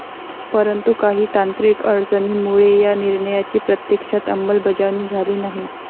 परंतु काही तांत्रिक अडचणींमुळे या निर्णयाची प्रत्यक्षात अंमलबजावणी झाली नाही.